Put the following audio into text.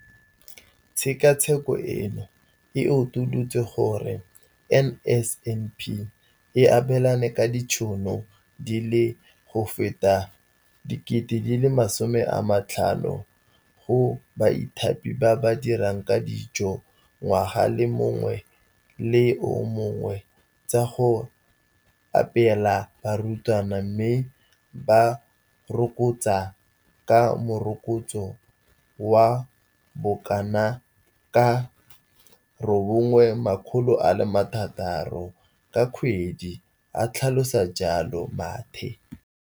Tshekatsheko eno e utolotse gore NSNP e abelana ka ditšhono di feta 50 000 go baithaopi ba ba dirang ka dijo ngwaga o mongwe le o mongwe tsa go apeela barutwana, mme ba rokotswa ka morokotso wa bokanaka ka R960 ka kgwedi, a tlhalosa jalo Mathe.